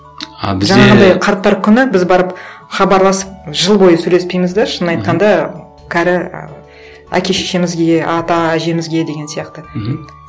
қарттар күні біз барып хабарласып жыл бойы сөйлеспейміз де шын айтқанда кәрі ы әке шешемізге ата әжемізге деген сияқты мхм